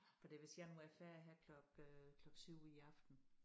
Fordi hvis jeg nu er færdig her klok øh klok 7 i aften